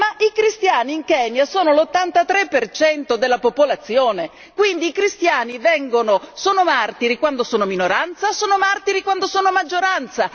Ma i cristiani in Kenya sono l'83 per cento della popolazione, quindi i cristiani sono martiri quando sono minoranza, sono martiri quando sono maggioranza.